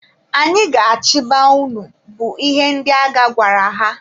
Anyị ga-achịba unu! bụ ihe ndị agha gwara ha.